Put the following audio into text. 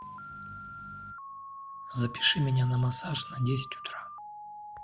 запиши меня на массаж на десять утра